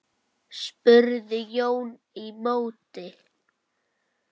spurði Jón í móti.